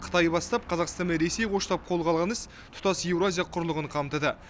қытай бастап қазақстан мен ресей қоштап қолға алған іс тұтас еуразия құрлығын қамтыды